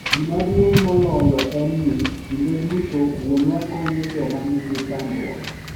Gima duong’ moloyo en ni, kinde duto wuonwa konyo joma nigi chandruok.